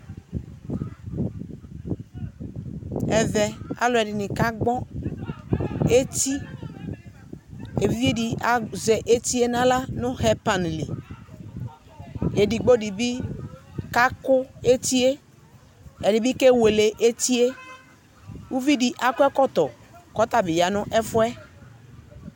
Ɛvɛ alʋɛdɩnɩ kagbɔ eti, e'vidzedɩ azɛ etie n'aɣla nʋ hɛpanɩ li, edigbo dɩ bɩ kakʋ etie, ɛdɩ bɩ kewele etie Uvidɩ akɔ ɛkɔtɔ k'ɔtabɩ ya 'n'ɛfʋɛ